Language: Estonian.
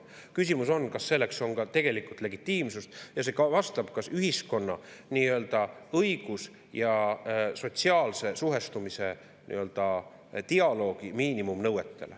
Küsimus on, kas selleks on ka tegelikult legitiimsust ja kas see vastab ühiskonna nii-öelda õigus- ja sotsiaalse suhestumise dialoogi miinimumnõuetele.